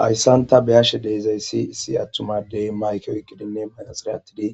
Hayisan ta beashe issi atuma adde mayike oyikidinne maraxine atidi